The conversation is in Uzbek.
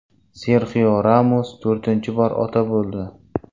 Serxio Ramos to‘rtinchi bor ota bo‘ldi .